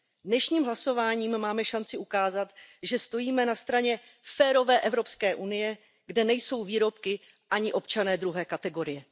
Dnešním hlasováním máme šanci ukázat, že stojíme na straně férové Evropské unie, kde nejsou výrobky ani občané druhé kategorie.